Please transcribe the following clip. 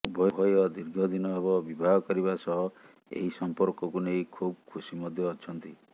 ଉଭୟ ଦୀର୍ଘ ଦିନ ହେବ ବିବାହ କରିବା ସହ ଏହି ସଂପର୍କକୁ ନେଇ ଖୁବ୍ ଖୁସି ମଧ୍ୟ ଅଛନ୍ତି